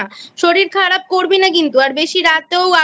শরীর খারাপ করবি না কিন্তু আর বেশি রাতেও আর